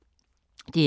DR K